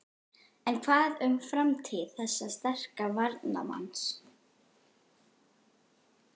En hvað um framtíð þessa sterka varnarmanns?